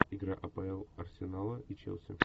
игра апл арсенала и челси